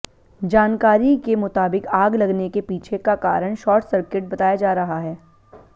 जानकारी के मुताबिक आग लगने के पीछे का कारण शॉर्ट सर्किट बताया जा रहा है